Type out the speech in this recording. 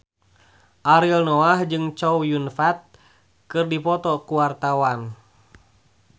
Ariel Noah jeung Chow Yun Fat keur dipoto ku wartawan